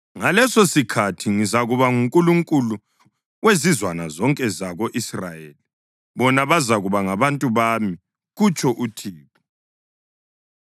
“Ngalesosikhathi ngizakuba nguNkulunkulu wezizwana zonke zako-Israyeli, bona bazakuba ngabantu bami,” kutsho uThixo.